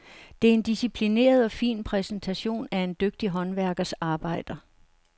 Det er en disciplineret og fin præsentation af en dygtig håndværkers arbejder.